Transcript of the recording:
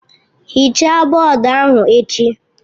Hichaa bọọdụ ahụ echi!